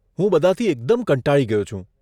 હું બધાંથી એકદમ કંટાળી ગયો છું.